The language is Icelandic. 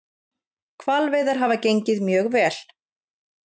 Hvalveiðar hafa gengið mjög vel